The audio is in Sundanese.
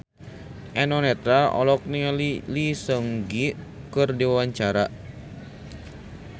Eno Netral olohok ningali Lee Seung Gi keur diwawancara